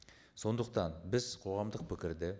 сондықтан біз қоғамдық пікірді